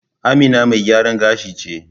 Amina mai gyaran gashi ce.